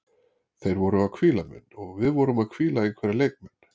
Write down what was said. Þeir voru að hvíla menn og við vorum að hvíla einhverja leikmenn.